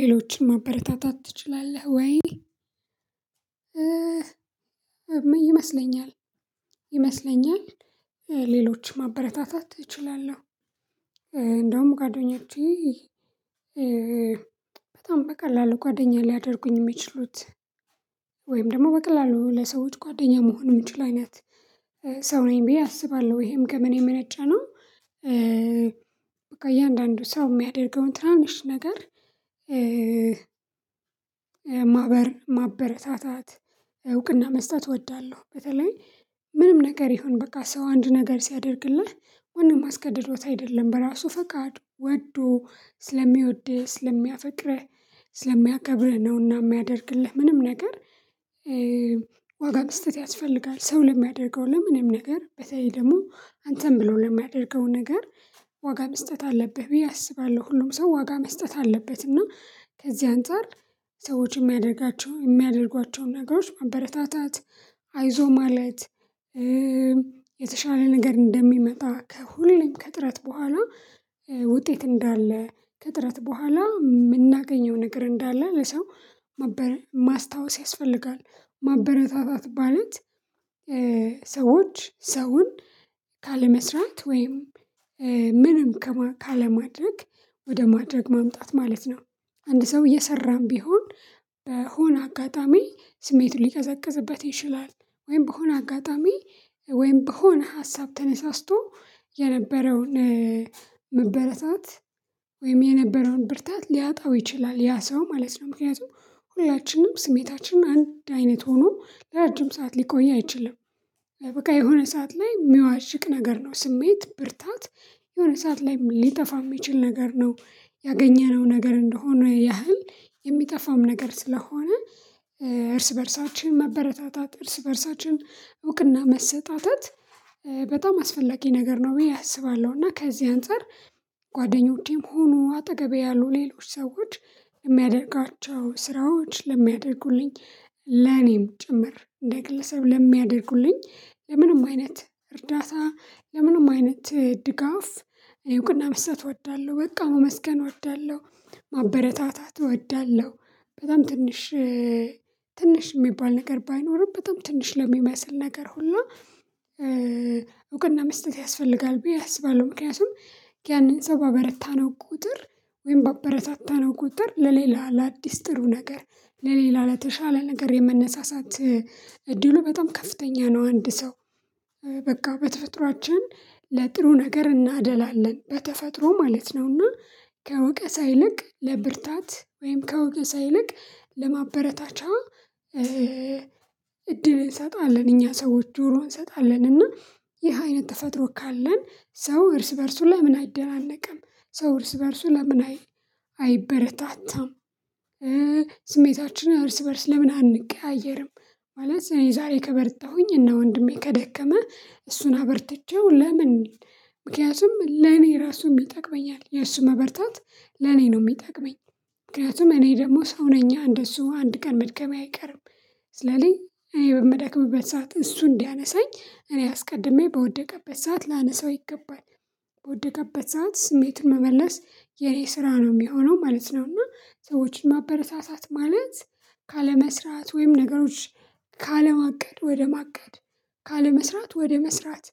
ሌሎችን ማበረታታት ትችላለህ ወይ? ይመስለኛል ይመስለኛል ሌሎች ማበረታታት እችላለሁ። እንደውም ጓደኛቼ በጣም በቀላሉ ጓደኛ ሊያደርጉኝ የሚችሉት ወይም ደግሞ በቀላሉ ለሰዎች ጓደኛ መሆን የምችል አይነት ሰው ነኝ ብዬ አስባለሁ ወይም ከምን የመነጨ ነው። በቃ እያንዳንዱ ሰው የሚያደርገውን ትናንሽ ነገር ማህበር ማበረታታት እውቅና መስጠት እወዳለሁ። በተለይ ምንም ነገር ይሁን በቃ ሰው አንድ ነገር ሲያደርግልህ ማንም አስገድዶት አይደለም በራሱ ፈቃድ ወዶ ስለሚወደህ ስለሚያፈቅረህ ስለሚያከብርህ ነውና የሚያደርግልህ ምንም ነገር ዋጋ መስጠት ያስፈልጋል። ሰው ለሚያደርገው ለምንም ነገር በተለይ ደግሞ አንተን ብሎ ለሚያደርገው ነገር ዋጋ መስጠት አለብህ ብዬ አስባለሁ። ሁሉም ሰው ዋጋ መስጠት አለበትና ከዚህ አንፃር ሰዎች የሚያደርጋቸውን የሚያደርጓቸውን ነገሮች ማበረታታት አይዞህ ማለት የተሻለ ነገር እንደሚመጣ ሁሌም ከጥረት በኋላ እንዳለ ከጥረት በኋላ የምናገኘው ነገር እንዳለ ለሰው ማስታወስ ያስፈልጋል። ማበረታታት ማለት ሰዎች ሰውን ካለመስራት ወይም ምንም ካለማድረግ ወደ ማድረግ ማምጣት ማለት ነው። አንድ ሰው እየሰራን ቢሆን በሆነ አጋጣሚ ስሜቱ ሊቀዘቅዝበት ይችላል ወይም በሆነ አጋጣሚ ወይም በሆነ ሀሳብ ተነሳስቶ የነበረውን መበረታት ወይም የነበረውን ብርታት ሊያጣው ይችላል ያ ሰው ማለት ነው። ምክንያቱም ሁላችንም ስሜታችን አንድ አይነት ሆኖ ለረጅም ሰዓት ሊቆይ አይችልም። በቃ የሆነ ሰዓት ላይ ሚዋዥቅ ነገር ነው ስሜት ብርታት የሆነ ሰዓት ላይ ሊጠፋ የሚችል ነገር ነው ያገኘነው ነገር እንደሆነ ያህል የሚጠፋም ነገር ስለሆነ እርስ በእርሳችን መበረታታት እርስ በእርሳችን እውቅና መሰጣጠት በጣም አስፈላጊ ነገር ነው። ብዬ አስባለሁ እና ከዚህ አንፃር ጓደኛቼም ሆኑ አጠገቤ ያሉ ሌሎች ሰዎች የሚያደርጋቸው ስራዎች ለሚያደርጉልኝ ለኔም ጭምር እንደ ግለሰብ ለሚያደርጉልኝ ለምንም አይነት እርዳታ ለምንም አይነት ድጋፍ እውቅና ምስጥ እወዳለሁ በቃ ማመስገን እወዳለሁ ማበረታታት እወዳለሁ። በጣም ትንሽ ትንሽ የሚባል ነገር ባይኖርም በጣም ትንሽ ለሚመስል ነገር ሁላ እውቀትና መስጠት ያስፈልጋል ብዬ አስባለሁ። ምክንያቱም ያንን ሰው ባበረታነው ቁጥር ወይም ባበረታታነው ቁጥር ለሌላ ለአዲስ ጥሩ ነገር ለሌላ ለተሻለ ነገር የመነሳሳት እድሉ በጣም ከፍተኛ ነው። አንድ ሰው በቃ በተፈጥሮአችን ለጥሩ ነገር እናደላለን በተፈጥሮ ማለት ነውና ከወቀሳ ይልቅ ለብርታት ወይም ከወቀሳ ይልቅ ለማበረታቻ እድል እንሰጣለን እኛ ሰዎች ጆሮውን እንሰጣለን እና ይህ አይነት ተፈጥሮ ካለን ሰው እርስ በእርሱ ለምን አይደናነቅም? ሰው እርስ በእርሱ ለምን አይ አይበረታታም? ስሜታችን እርስ በእርስ ለምን አንቀያየርም? ማለት የዛሬ ከበረታሁኝ እና ወንድሜ ከደከመ እሱን አበርትቼው ለምን ምክንያቱም ለኔ ራሱም ይጠቅመኛል የሱ መበርታት ለኔ ነው የሚጠቅመኝ ምክንያቱም እኔ ደግሞ ሰው ነኝ እንደሱ አንድ ቀን መድከሜ አይቀርም። ስለዚህ እኔ በምደክምበት ሰዓት እሱ እንዲያነሳኝ እኔ አስቀድሜ በወደቀበት ሰዓት ላነሳው ይገባል በወደቀበት ሰዓት ስሜቱን መመለስ የኔ ስራ ነው የሚሆነው ማለት ነው። እና ሰዎችን ማበረታታት ማለት ካለመስራት ወይም ነገሮች ካለማቀድ ወደማቀድ ካለመስራት ወደመስራት